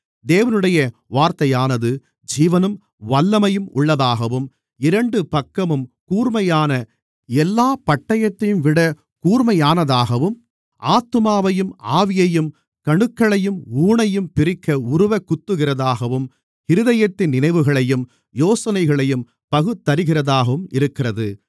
தேவனுடைய வார்த்தையானது ஜீவனும் வல்லமையும் உள்ளதாகவும் இரண்டு பக்கமும் கூர்மையான எல்லாப் பட்டயத்தையும்விட கூர்மையானதாகவும் ஆத்துமாவையும் ஆவியையும் கணுக்களையும் ஊனையும் பிரிக்க உருவக் குத்துகிறதாகவும் இருதயத்தின் நினைவுகளையும் யோசனைகளையும் பகுத்தறிகிறதாகவும் இருக்கிறது